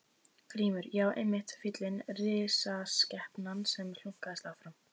GRÍMUR: Já, einmitt fíllinn, risaskepnan sem hlunkast áfram.